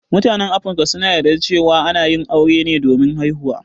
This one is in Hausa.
Mutan Afrika suna yarda cewa ana yin aure ne domin haihuwa.